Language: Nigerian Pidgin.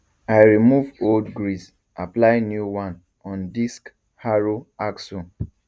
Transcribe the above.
i remove old grease apply new one on disc harrow axle